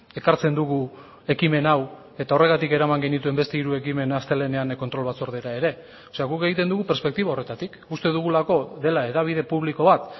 ekartzen dugu ekimen hau eta horregatik eraman genituen beste hiru ekimen astelehenean kontrol batzordera ere guk egiten dugu perspektiba horretatik uste dugulako dela hedabide publiko bat